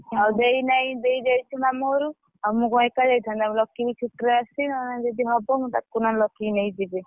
ଆଉ ଦେଇ ନାହିଁ ଦେଇ ଯାଇଛି ମାମୁଁ ଘରକୁ ଆଉ ମୁଁ କଁ ଏକା ଯାଇଥାନ୍ତି ନା କଁ ଲକି ବି ଛୁଟିରେ ଆସିଛି ଯଦି ହବ ମୁଁ ତାକୁ ନହେଲେ ଲକି କି ନେଇକି ଯିବି।